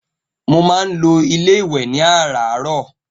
Mo má n lọ ilé iwè ní àráárọ̀